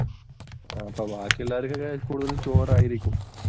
അപ്പോൾ ബാക്കിയുള്ളവർക്കു കൂടുതലും ചോറായിരിക്കും.